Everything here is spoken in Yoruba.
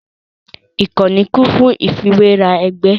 Ìkànnì kún fún ìfiwéra ẹgbẹ́